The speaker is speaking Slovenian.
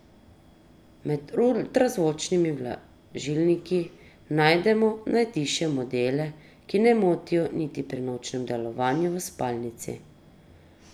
Med ultrazvočnimi vlažilniki najdemo najtišje modele, ki ne motijo niti pri nočnem delovanju v spalnici.